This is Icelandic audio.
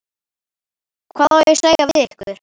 Hvað á ég að segja við ykkur?